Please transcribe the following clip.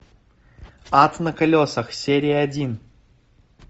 ад на колесах серия один